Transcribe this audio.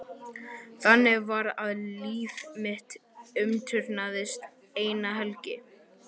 Þannig var að líf mitt umturnaðist eina helgi.